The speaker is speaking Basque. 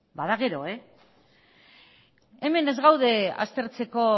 bada gero hemen ez gaude aztertzeko